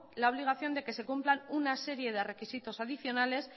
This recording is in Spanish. la obligación de que se cumplan una serie de requisitos adicionales